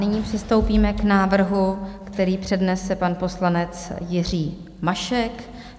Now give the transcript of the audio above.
Nyní přistoupíme k návrhu, který přednese pan poslanec Jiří Mašek.